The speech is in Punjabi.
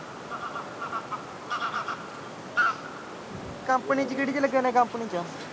ਕੰਪਨੀ ਚ ਕਿਹੜੀ ਵਿਚ ਲਗਿਆ ਹੁਨਾ ਕੰਪਨੀ ਚ